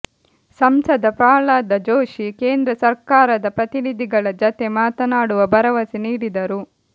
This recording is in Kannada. ಸಂಸದ ಪ್ರಹ್ಲಾದ ಜೋಶಿ ಕೇಂದ್ರ ಸರ್ಕಾರದ ಪ್ರತಿನಿಧಿಗಳ ಜತೆ ಮಾತನಾಡುವ ಭರವಸೆ ನೀಡಿದರು